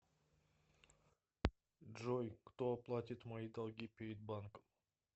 джой кто оплатит мои долги перед банком